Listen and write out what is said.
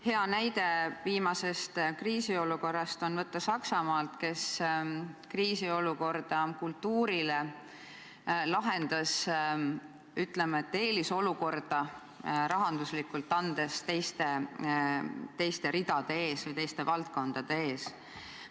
Hea näide viimasest kriisiolukorrast on võtta Saksamaalt, kes kriisiolukorda kultuurile lahendas, ütleme, andes eelisolukorda rahanduslikult teiste ridade ees või teiste valdkondade ees.